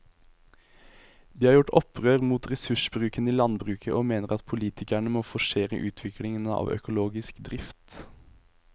De har gjort opprør mot ressursbruken i landbruket og mener at politikerne må forsere utviklingen av økologisk drift.